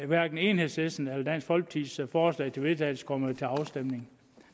hverken enhedslistens eller dansk folkepartis forslag til vedtagelse kommer til afstemning